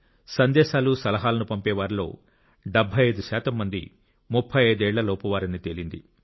సందేశాలు సలహాలను పంపే వారిలో 75 శాతం మంది 35 ఏళ్లలోపువారని తేలింది